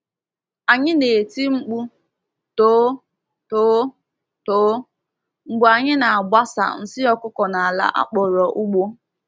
Anyị na-eti mkpu “too, too, too” mgbe anyị na-agbasa nsị ọkụkọ n’ala a kpọrọ ugbo.